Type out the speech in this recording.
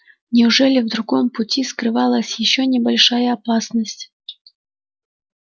неужели в другом пути скрывалась ещё небольшая опасность